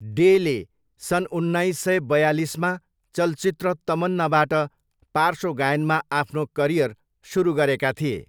डेले सन् उन्नाइस सय बयालिसमा चलचित्र तमन्नाबाट पार्श्व गायनमा आफ्नो करियर सुरु गरेका थिए।